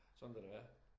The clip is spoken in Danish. Sådan vil det være